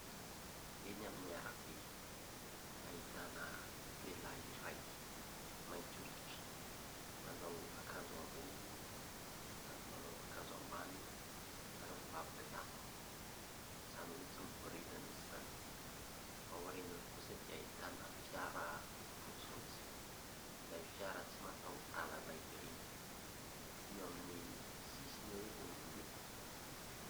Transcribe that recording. Eny amin'ny ara-be ahitana lehilahy ray : mainty oditra manao akanjo ambony ary manao akanjo am-bany ary mibaby kitapo izany hoe tsy miboridana izy izany. Aorinany kosa dia ahitana fiara fotsy fotsy ; ilay fiara tsy mata-dalana ireny eo amin'ny sisiny eo izy ny mandeha.